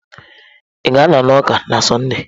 Ị ga-anọ n'ụka na Sọnde?